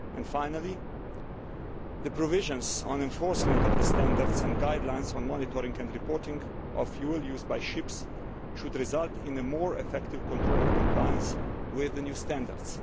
Finally, the provisions on enforcement of the standards and guidelines on monitoring and reporting of fuel used by ships should result in a more effective control of compliance with the new standards.